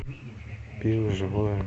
пиво живое